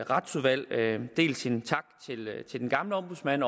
retsudvalg dels en tak til den gamle ombudsmand